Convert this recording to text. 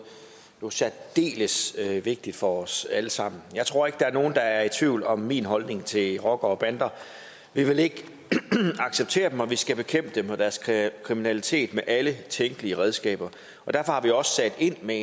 jo særdeles vigtigt for os alle sammen jeg tror ikke der er nogen der er i tvivl om min holdning til rockere og bander vi vil ikke acceptere dem og vi skal bekæmpe dem og deres kriminalitet med alle tænkelige redskaber derfor har vi også sat ind med